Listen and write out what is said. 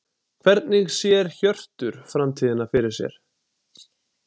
Hvernig sér Hjörtur framtíðina fyrir sér?